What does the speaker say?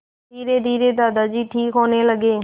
धीरेधीरे दादाजी ठीक होने लगे